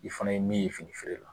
I fana ye min ye fini feere la